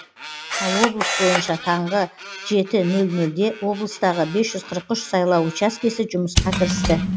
ал облыс бойынша таңғы жеті нөл нөлде облыстағы бес жүз қырық үш сайлау учаскесі жұмысқа кірісті